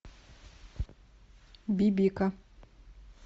бибика